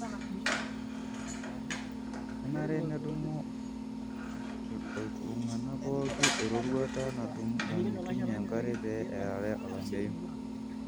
kenare nedumu oltunganaa pooki eroruata namitunyie enkare pe earare olamayu.